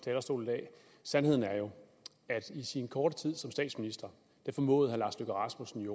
talerstol i dag sandheden er jo at i sin korte tid som statsminister formåede herre lars løkke rasmussen